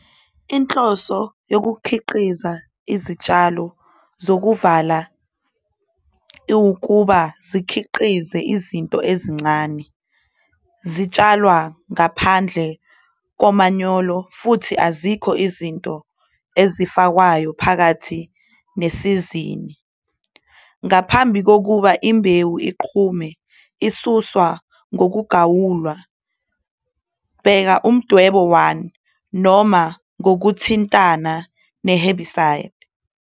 Inhloso yokukhiqiza izilimo eziyisembozo ukuzikhiqiza ngama-input amancane. Sizitshala ngaphandle kukamanyolo futhi awekho ama-input esiwafakayo ngesikhathi sesizini. Ngaphambi kokumila kwezinhlamvu sizisusa ngokuthandelayo, bona Isithombe 1, noma ngokuthintana ne-herbicide.